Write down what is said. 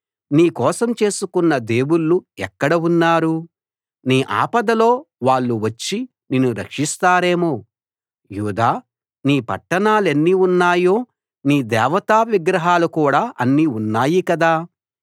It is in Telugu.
నీ కోసం చేసుకున్న దేవుళ్ళు ఎక్కడ ఉన్నారు నీ ఆపదలో వాళ్ళు వచ్చి నిన్ను రక్షిస్తారేమో యూదా నీ పట్టణాలెన్ని ఉన్నాయో నీ దేవతా విగ్రహాలు కూడా అన్ని ఉన్నాయి కదా